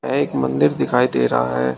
एक मंदिर दिखाई दे रहा है।